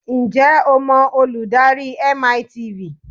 Ǹjẹ́ o mọ olùdarí MiTV?